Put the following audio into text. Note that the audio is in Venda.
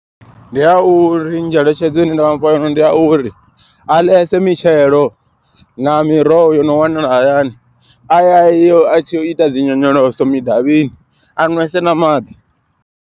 Ndi ya uri ngeletshedzo ine nda vhafha yone ndi a uri a ḽesa mitshelo na miroho yo no wanala hayani. A ya yo a tshi ita dzi nyonyoloso midavhini a nwese na maḓi.